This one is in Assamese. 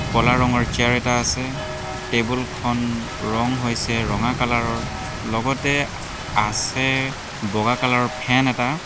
ক'লা ৰঙৰ চিয়াৰ এটা আছে টেবুল খন ৰং হৈছে ৰঙা কলাৰ ৰ লগতে আছে বগা কালাৰ ৰ ফেন এটা।